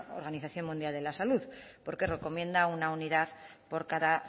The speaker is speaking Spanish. organización mundial de la salud porque recomienda una unidad por cada